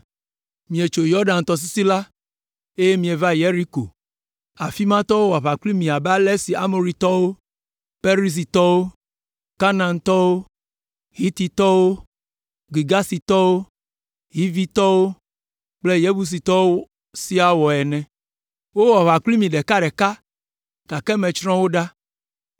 “ ‘Mietso Yɔdan tɔsisi la, eye mieva Yeriko, afi ma tɔwo wɔ aʋa kpli mi abe ale si Amoritɔwo, Perizitɔwo, Kanaantɔwo, Hititɔwo, Girgasitɔwo, Hivitɔwo kple Yebusitɔwo siaa wɔ ene. Wowɔ aʋa kpli mi ɖeka ɖeka, gake metsrɔ̃ wo katã.